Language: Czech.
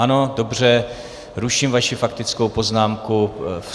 Ano, dobře, ruším vaši faktickou poznámku.